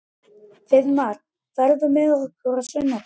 Friðmar, ferð þú með okkur á sunnudaginn?